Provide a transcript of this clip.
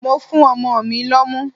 Mo fún ọmọ mi lọ́mú.